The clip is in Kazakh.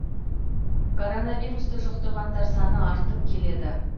коронвирусты жұқтырғандар саны артып келеді